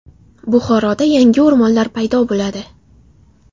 Buxoroda yangi o‘rmonlar paydo bo‘ladi.